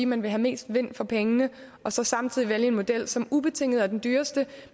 man vil have mest vind for pengene og så samtidig vælge en model som ubetinget er den dyreste